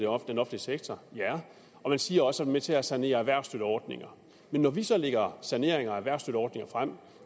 offentlige sektor og man siger også at med til at sanere erhvervsstøtteordninger men når vi så lægger forslag saneringer af erhvervsstøtteordninger frem